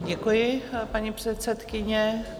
Děkuji, paní předsedkyně.